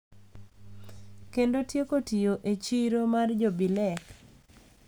Kendo tieko tiyo e chiro mar jo bilek.